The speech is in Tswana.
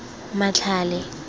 matlhale